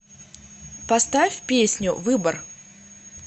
поставь песню выбор